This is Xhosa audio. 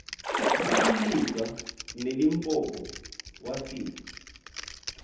iligwa nelimpopo wafika